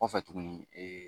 Kɔfɛ tuguni